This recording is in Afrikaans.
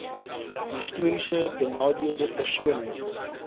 histories benadeelde persone